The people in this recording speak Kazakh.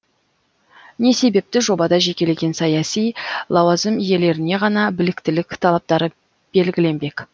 не себепті жобада жекелеген саяси лауазым иелеріне ғана біліктілік талаптары белгіленбек